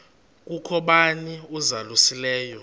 kukho bani uzalusileyo